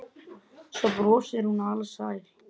Svo brosir hún alsæl.